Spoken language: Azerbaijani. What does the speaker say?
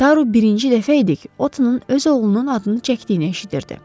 Taru birinci dəfə idi ki, Otın öz oğlunun adını çəkdiyini eşidirdi.